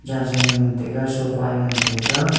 jansonoe ngan taiga sofa e ngan taiga.